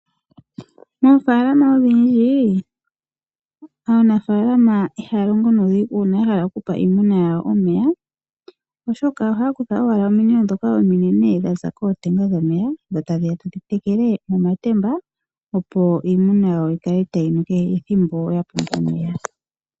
Moofaalama odhindji aanafaalama oyendji ihaya longo nuudhigu uuna ya hala okupa iinamwenyo yawo omeya. Ohaya kutha ominino ominene ndhoka dhaza kootenga dhomeya e taya tekele momatemba, opo iimuna yawo yi kale tayi nu kehe ethimbo.